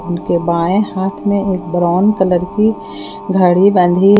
उनके बाएं हाथ में एक ब्राउन कलर की घड़ी बंधी--